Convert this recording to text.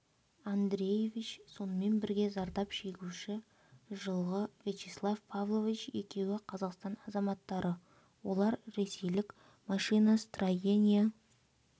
андреевич сонымен бірге зардап шегуші жылғы вячеслав павлович екеуі қазақстан азаматтары олар ресейлік машиностроения